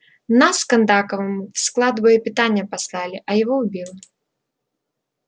нас с кондаковым в склад боепитания послали а его убило